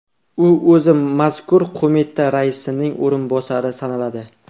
U o‘zi mazkur qo‘mita raisining o‘rinbosari sanaladi.